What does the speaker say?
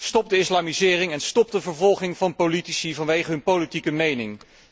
Stop de islamisering en stop de vervolging van politici vanwege hun politiek mening!